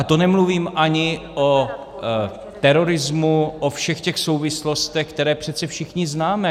A to nemluvím ani o terorismu, o všech těch souvislostech, které přece všichni známe.